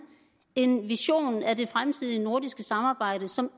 en vision af det fremtidige nordiske samarbejde som